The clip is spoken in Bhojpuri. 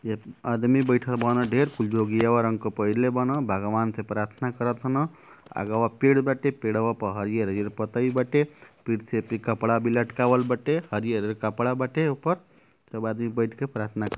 एप आदमी बईठल बान। ढेर कुल जोगियवा रंग क पहिरले बान। भागवान से प्रार्थना करतान। आगवा पेड़ बाटे पेड़वा प हरियर-हरियर पतई बाटे पीड़ से एपे कपड़ा भी लटकावल बाटे। हरियर-हरियर कपड़ा बाटे ओपर। सब आदमी बाइठ के प्रार्थना --